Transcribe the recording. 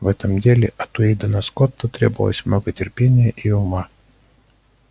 в этом деле от уидона скотта требовалось много терпения и ума